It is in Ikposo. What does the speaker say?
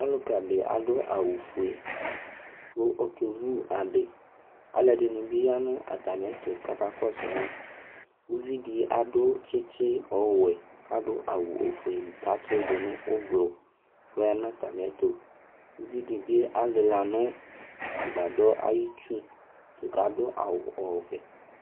Ɔlʋka ɖi aɖu awu fʋe kʋ ɔke vu aɖi Aluɛɖìŋí bi ya ŋu atami ɛtu kʋ aka kɔsu ma Ʋviɖi aɖu tsitsi ɔwɛ kʋ aɖu ɔfʋe kʋ atsiɖu ŋu ʋblue kʋ ɔya ŋu atami ɛtu Ʋviɖi bi alila ŋu agbadɔɛ ayʋ itsu kʋ aɖu awu ɔvɛ